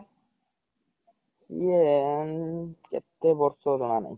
ସିଏ କେତେ ବର୍ଷ ଜଣା ନାହିଁ